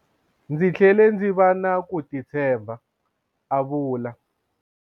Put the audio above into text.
Ndzi tlhele ndzi va na ku titshemba, a vula.